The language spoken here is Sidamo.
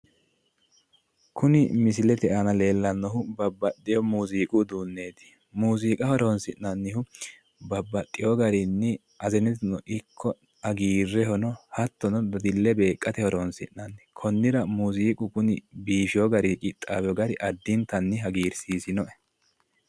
kuni misilete aana leellannohu babbaxxino muuziiqu uduunneeti muuziiqa horoonsinayihu babbaxxewo garinno hazeneteno ikko hagiirrehono hattono dadille beeqqate horoonsi'nanni konnira muuziiqu biifewo garinno qixxawewo gari addintanni hagiirsiisino'e